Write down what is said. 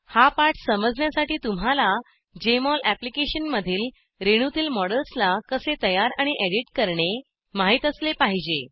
हा पाठ समजण्यासाठी तुम्हाला जेएमओल अप्लिकेशनमधील रेणूतील मॉडेल्सला कसे तयार आणि एडिट करणे माहीत असले पाहिजे